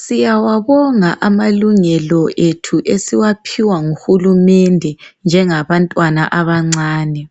Siyawabonga amalungelo ethu esiwaphiwa nguhulumende njengabantwana abancane.